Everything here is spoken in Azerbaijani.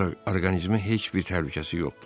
Ancaq orqanizmə heç bir təhlükəsi yoxdur.